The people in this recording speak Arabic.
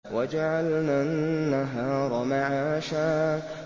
وَجَعَلْنَا النَّهَارَ مَعَاشًا